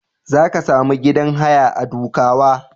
Za ka sami gidan haya a Dukawa.